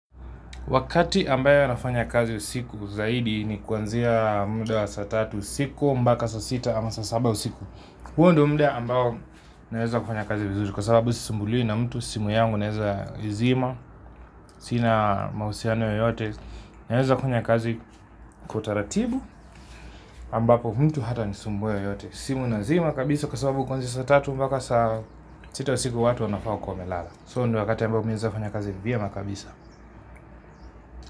Wakati ambayo nafanya kazi usiku zaidi ni kuanzia muda wa saa tatu usiku mpaka saa sita ama saa saba usiku. Huo ndo muda ambao naweza kufanya kazi vizuri kwa sababu sisumbuliwi na mtu simu yangu naweza izima, sina mahusiano yoyote, naweza fanya kazi kwa utaratibu ambapo mtu hatanisumbua yeyote. Simu nazima kabisa kwa sababu kuanzia saa tatu mpaka saa sita usiku watu wanafaa kuwa wamelala. So ndo wakati ambao naeza fanya kazi vyema kabisa.